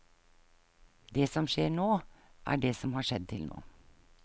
Det som skjer nå, er det som har skjedd til nå.